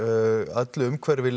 öllu umhverfi